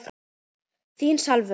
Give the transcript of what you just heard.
Þín Salvör.